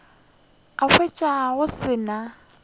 a hwetša go se na